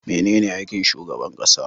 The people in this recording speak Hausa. Mene aikin shugaban ƙasa?